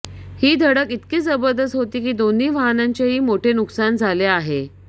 ही धडक इतकी जबरदस्त होती दोन्ही वाहनांचेही मोठे नुकसान झाले ओह